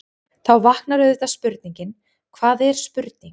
Þá vaknar auðvitað spurningin: hvað er spurning?.